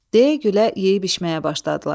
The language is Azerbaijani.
Deyə-gülə yeyib-içməyə başladılar.